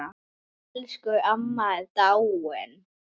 Elsku amma er dáinn.